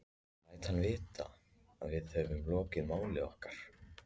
Ég læt hann vita, að við höfum lokið máli okkar.